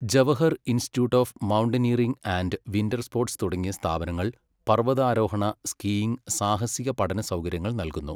Jawahar institute of mountaineering and winter sports തുടങ്ങിയ സ്ഥാപനങ്ങൾ പർവ്വതാരോഹണ, സ്കീയിംഗ്, സാഹസിക പഠനസൗകര്യങ്ങൾ നൽകുന്നു.